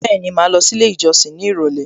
Bẹ́ẹ̀ni, màá lọ sí ilé ìjọsìn ní ìrọ̀lẹ́